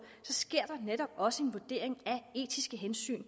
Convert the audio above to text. sker der netop også en vurdering af etiske hensyn